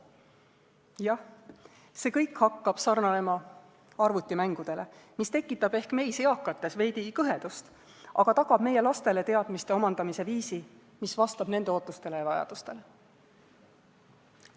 Jah, see kõik hakkab sarnanema arvutimängudega, mis tekitab ehk meis, eakates, veidi kõhedust, aga see tagab meie lastele teadmiste omandamise viisi, mis vastab nende ootustele ja vajadustele.